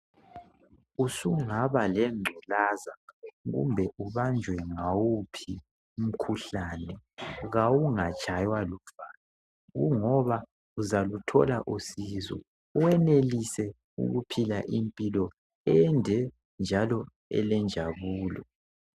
Usungaba lengculaza kumbe ubanjwe ngawuphi umkhuhlane .Kawungatshaywa luvalo ,kungoba uzaluthola usizo .Wenelise ukuphila impilo ende njalo elenjabulo.